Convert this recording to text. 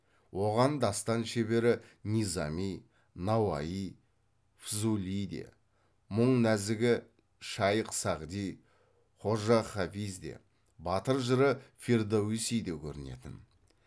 оған дастан шебері низами науаи фзулиде мұң нәзігі шайх сағди хожа хафизде батыр жыры фердаусиде көрінетін